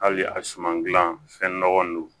Hali a suman gilan fɛn nɔgɔman don